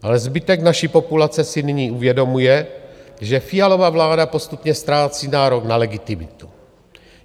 Ale zbytek naší populace si nyní uvědomuje, že Fialova vláda postupně ztrácí nárok na legitimitu.